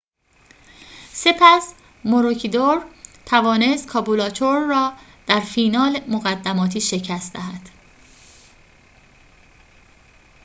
سپس ماروکیدور توانست کابولاچور را در فینال مقدماتی شکست دهد